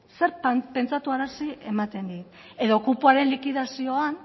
zertan pentsarazi ematen dit edo kupoaren likidazioan